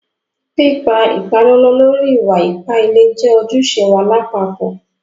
Pípà ìpàlọ̀lọ̀ lórí ìwà-ìpà ìlẹ̀ jẹ́ ojúṣẹ̀ wá làpapọ̀.